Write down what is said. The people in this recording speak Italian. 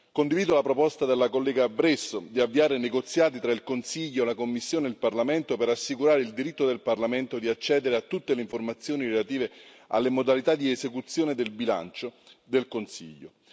Condivido la proposta della collega Bresso di avviare negoziati tra il Consiglio, la Commissione e il Parlamento, per assicurare il diritto del Parlamento di accedere a tutte le informazioni relative alle modalità di esecuzione del bilancio del Consiglio.